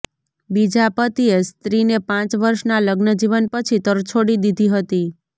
બીજા પતિએ સ્ત્રીને પાંચ વર્ષના લગ્નજીવન પછી તરછોડી દીધી હતી